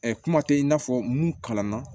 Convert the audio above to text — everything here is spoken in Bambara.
kuma tɛ i n'a fɔ mun kalan na